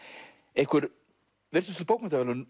einhver virtustu bókmenntaverðlaun